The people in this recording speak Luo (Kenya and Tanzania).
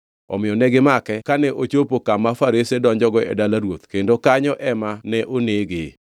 Omiyo negimake kane ochopo kama farese donjogo e dala ruoth kendo kanyo ema ne onege.